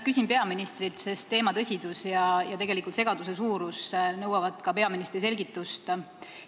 Küsin peaministrilt, sest teema tõsidus ja segaduse suurus nõuavad ka peaministri selgitust.